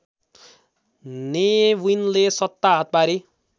ने विनले सत्ता हात पारी